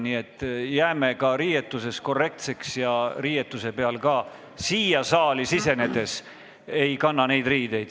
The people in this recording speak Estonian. Nii et jääme ka riietuses korrektseks ja riietuse peal oleva loosungiga siia saali ei sisene.